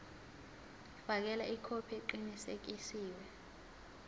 fakela ikhophi eqinisekisiwe